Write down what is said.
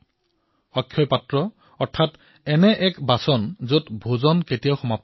অক্ষয় পাত্ৰ এনে এক বাচন যত ভোজন কেতিয়াও শেষ নহয়